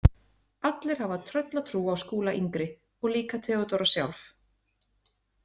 Allir hafa tröllatrú á Skúla yngri og líka Theodóra sjálf.